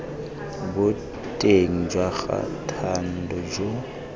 boteng jwa ga thando jo